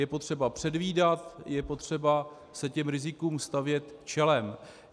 Je potřeba předvídat, je potřeba se těm rizikům stavět čelem.